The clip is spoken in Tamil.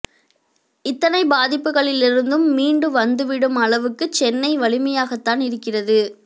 இத்தனை பாதிப்புகளிலிருந்தும் மீண்டு வந்துவிடும் அளவுக்குச் சென்னை வலிமையாகத்தான் இருக்கிறது